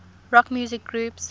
rock music groups